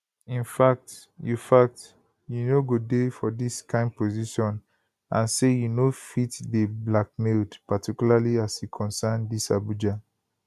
in fact you fact you no go dey for dis kain position and say you no fit dey blackmailed particularly as e concern dis abuja